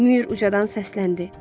Mür ucadan səsləndi: